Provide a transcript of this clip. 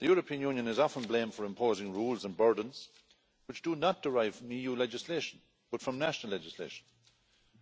The European Union is often blamed for imposing rules and burdens which do not derive from EU legislation but from national legislation